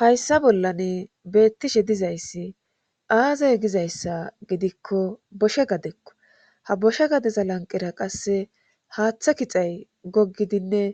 Hayssa bollane beettishe dizayssi aazay gizayssa gidikko boshe gadekko ha boshe gadeza lanqera qasse haaththa kixay gogidinne